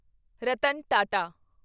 Ratan Tata